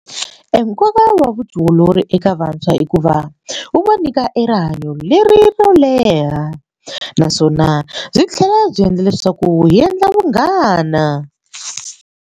Nkoka wa vutiolori eka vantshwa hikuva wu va nyika e rihanyo lero leha naswona byi tlhela byi endla leswaku hi endla vunghana.